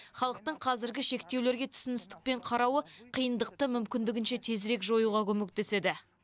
халықтың қазіргі шектеулерге түсіністікпен қарауы қиындықты мүмкіндігінше тезірек жоюға көмектеседі